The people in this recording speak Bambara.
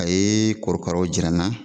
A ye korokaraw jira n na